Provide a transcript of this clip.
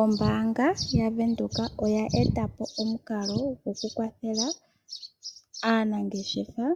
Ombaanga yaVenduka oya etapo omukalo gwokukwathela aanangeshefa